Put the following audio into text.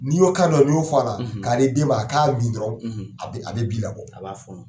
N'iy'o kan dɔn n'iy'o f'ala k'a di den ma a k'a min dɔrɔn a bɛ bi labɔ a b'a fɔnɔn